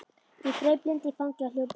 Ég greip Lindu í fangið og hljóp út.